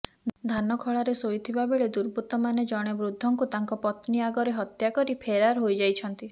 ଧାନଖଳାରେ ଶୋଇଥିବା ବେଳେ ଦୁର୍ବୃତ୍ତମାନେ ଜଣେ ବୃଦ୍ଧଙ୍କୁ ତାଙ୍କ ପତ୍ନୀ ଆଗରେ ହତ୍ୟା କରି ଫେରାର୍ ହୋଇଯାଇଛନ୍ତି